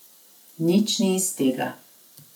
Nič ni iz tega.